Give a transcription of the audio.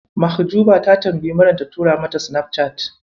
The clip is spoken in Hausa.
Mahjuba ta tambayi Maryam ta tura mata Sinafcat.